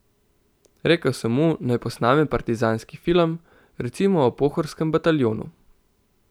Rekel sem mu, naj posname partizanski film, recimo o Pohorskem bataljonu.